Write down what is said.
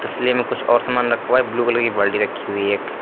तसले में कुछ और सामान रखा है ब्लू कलर की बाल्टी रखी हुई है एक।